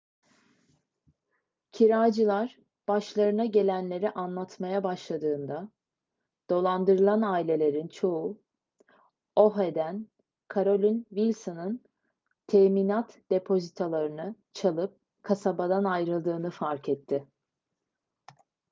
kiracılar başlarına gelenleri anlatmaya başladığında dolandırılan ailelerin çoğu oha'den carolyn wilson'ın teminat depozitolarını çalıp kasabadan ayrıldığını fark etti